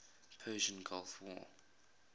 persian gulf war